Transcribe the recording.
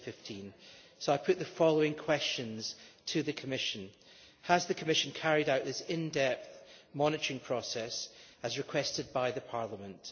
2015'. So I put the following questions to the Commission Has the Commission carried out this in depth monitoring process as requested by Parliament?